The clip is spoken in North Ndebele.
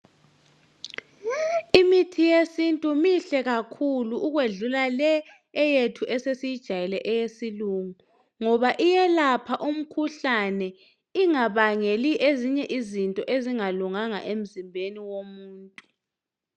Imithi yesintu mihle kakhuku ukwedlula le eyethu esesiyijayele eyesilungu, ngoba iyelapha umkhuhlane ingabangeli ezinye izinto ezingalunganga emzimbeni womuntu.